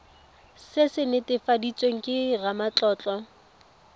se se netefaditsweng ke ramatlotlo